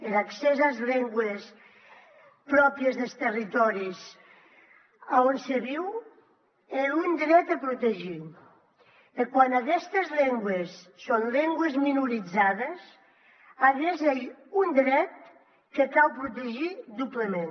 er accès as lengües pròpries des territòris a on se viu ei un dret a protegir e quan aguestes lengües son lengües minorizades aguest ei un dret que cau protegir doblament